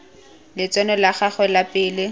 lotseno la gagwe la pele